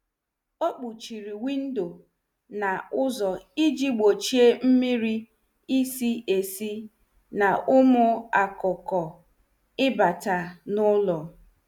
Ọ kpọchiri windo na ụzọ iji gbochie mmiri isi isi na ụmụ akụkụ ịbata n' ụlọ.